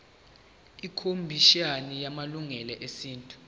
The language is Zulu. ikhomishana yamalungelo esintu